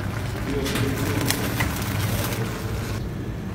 Živijo blizu, v premeru osmih kilometrov.